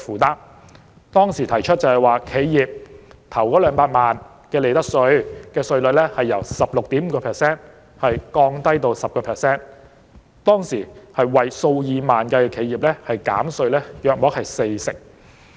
她當時建議將企業首200萬元利得稅稅率由 16.5% 降低至 10%， 當時有數以萬計的企業會獲減稅約四成。